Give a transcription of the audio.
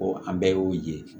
an bɛɛ y'o ye